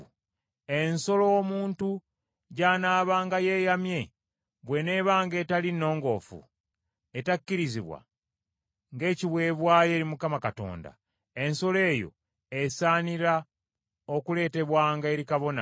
Ensolo omuntu gy’anaabanga yeeyamye bw’eneebanga etali nnongoofu , etakkirizibwa ng’ekiweebwayo eri Mukama Katonda, ensolo eyo esaanira okuleetebwanga eri kabona,